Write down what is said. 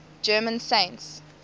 german saints